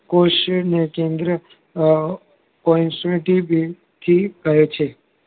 કોષને કેન્દ્રઅ થી કહે છે